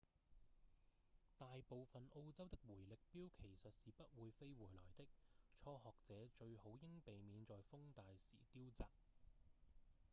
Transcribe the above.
大部分澳洲的迴力鏢其實是不會飛回來的初學者最好應避免在風大時丟擲